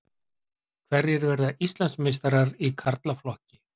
Hverjir verða Íslandsmeistarar í karlaflokki?